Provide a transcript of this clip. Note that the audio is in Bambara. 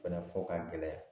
Fɛnɛ fɔ ka gɛlɛya